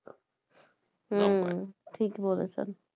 হুম ঠিক বলেছেন